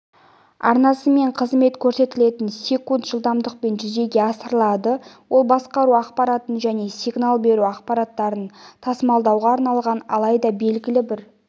арнасымен қызмет көрсетілетін секунд жылдамдықпен жүзеге асырылады ол басқару ақпаратын және сигнал беру ақпараттарын тасымалдауға арналған алайда белгілі бір